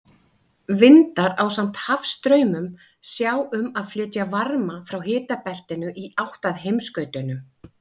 Vindar, ásamt hafstraumum, sjá um að flytja varma frá hitabeltinu í átt að heimsskautunum.